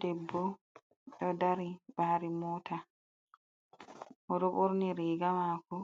Debbo ɗo dari ɓari mota, o ɗo ɓorni riga mako